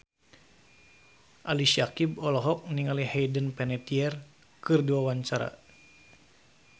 Ali Syakieb olohok ningali Hayden Panettiere keur diwawancara